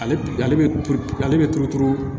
Ale ale bɛ ale bɛ turu turu